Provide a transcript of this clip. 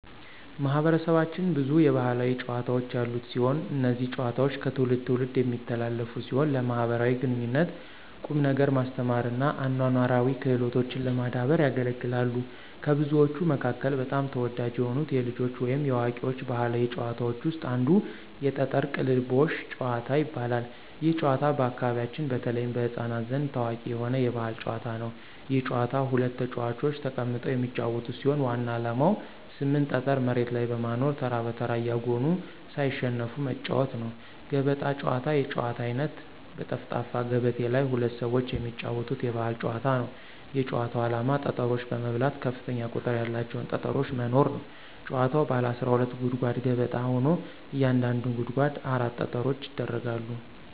ማህበረሰባችን ብዙ የባህላዊ ጨዋታዎች ያሉት ሲሆን። እነዚህ ጨዋታዎች ከትውልድ ትውልድ የሚተላለፉ ሲሆን ለማኅበራዊ ግንኙነት፣ ቁም ነገር ማስተማር እና አኗኗራዊ ክህሎቶችን ለማዳበር ያገለግላሉ። ከብዙዎቹ መካከል በጣም ተወዳጅ የሆኑት የልጆች ወይም የአዋቂዎች ባህላዊ ጨዋታዎች ውስጥ አንዱ የጠጠር ቅልቦሽ ጭዋታ ይባላል። ይህ ጨዋታ በአካባቢያችን በተለይም በሕፃናት ዘንድ ታዋቂ የሆነ የባህል ጨዋታ ነው። ይህ ጨዋታ ሁለት ተጫዋቾች ተቀምጠው የሚጫወቱት ሲሆን ዋናው ዓላማ 8 ጠጠር መሬት ላይ በማኖር ተራ በተራ እያጎኑ ሳይሸነፉ መጫዎት ነው። ገበጣ ጨዋታ የጨዋታ አይነት በጠፍጣፋ ገበቴ ላይ ሁለት ሰዎች የሚጫወቱት የባህል ጨዋታ ነው። የጭዋታው አላማ ጠጠሮች በመብላት ከፍተኛ ቁጥር ያላቸውን ጠጠሮች መኖር ነው። ጭዋታዉ ባለ 12 ጉድጓድ ገበጣ ሆኖ እያንዳንዱ ጉድጓድ 4 ጠጠሮች ይደረጋሉ።